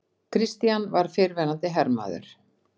Christian var fyrrverandi hermaður.